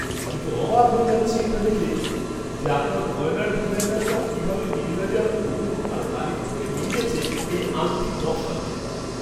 আমি তো অবাক হয়ে যাচ্ছি এটা দেখে যে আপনার গয়নার ডিজাইনাররা কীভাবে নির্ভেজাল গুণ আর লালিত্যকে মিলিয়েছে এই আংটির নকশাতে!